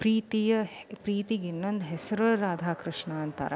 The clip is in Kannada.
ಪ್ರೀತಿಯ ಪ್ರೀತಿಗೆ ಇನ್ನೊಂದು ಹೆಸರು ರಾಧಾ ಕೃಷ್ಣ ಅಂತಾರೆ.